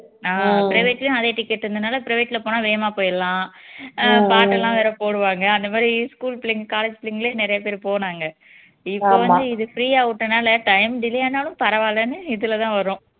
ஆஹ் private லயும் அதே ticket ங்குறதுனால private ல போனா வேகமா போயிரலாம் ஆஹ் பாட்டெல்லாம் வேற போடுவாங்க அந்த மாதிரி school புள்ளைங்க college புள்ளைங்களே நிறைய பேரு போனாங்க இப்போ வந்து இது free ஆ விட்டதுனால time delay ஆனாலும் பரவால்லன்னு இதுல தான் வரோம்